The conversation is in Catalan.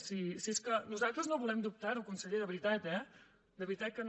si és que nosaltres no volem dubtar ho conseller de veritat eh de veritat que no